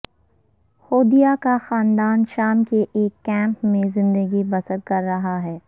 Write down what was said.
ہودیہ کا خاندان شام کے ایک کیمپ میں زندگی بسر کر رہا ہے